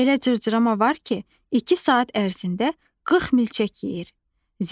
Elə cırcırama var ki, iki saat ərzində 40 milçək yeyir.